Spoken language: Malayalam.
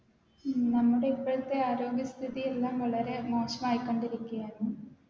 ഉം നമ്മുടെ ഇപ്പഴ്ത്തെ ആരോഗ്യ സ്ഥിതി എല്ലാം വളരെ മോശമായിക്കൊണ്ടിരിക്കെയാണ്